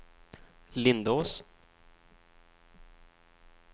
Lindås